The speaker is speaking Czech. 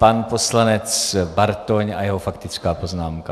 Pan poslanec Bartoň a jeho faktická poznámka.